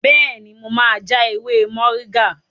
Bẹ́ẹ̀ni, mo ma ja ewé mọ̀ríngà